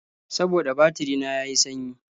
Saboda batiri na ya yi sanyi.